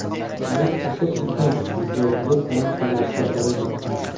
Bu qo‘shiq uchun videoklip ham suratga olindi.